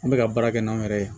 An bɛ ka baara kɛ n'anw yɛrɛ ye